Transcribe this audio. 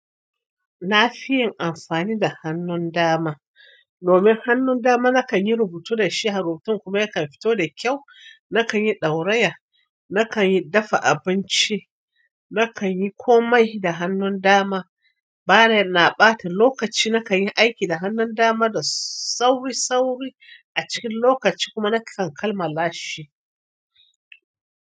Na fi yin amfani da hannun dama. Domin hannun dama nakan yi rubutu da shi, har rubutun kuma yakan fito da kyau. Nakan yi ɗauraya, nakan yi dafa abinci, nakan yi komai da hannun dama. Bana ɓata lokaci, nakan yi aiki da hannun dama da sauri-sauri a cikin lokaci kuma nakan kammala shi.